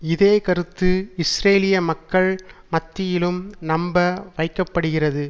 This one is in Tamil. இதே கருத்து இஸ்ரேலிய மக்கள் மத்தியிலும் நம்ப வைக்க படுகிறது